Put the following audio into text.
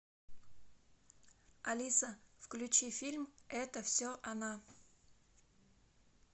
алиса включи фильм это все она